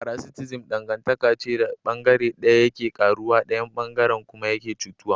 Paraticism dangantaka ce da bangare daya yake karuwa daya bangaren kuma yake cutuwa.